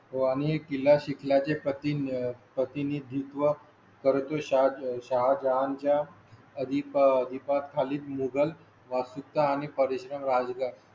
आम्ही किल्ला शिकला चे प्र तीन प्रतिनिधित्व करतो. शाह शाहजहान च्या अधिपती पाच खाली मोगल वास्तुकला आणि परिश्रम राजाच्या